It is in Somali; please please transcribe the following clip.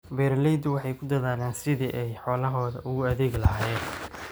Beeraleydu waxay ku dadaalaan sidii ay xoolahooda ugu adeegi lahaayeen.